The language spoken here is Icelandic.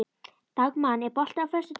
Dagmann, er bolti á föstudaginn?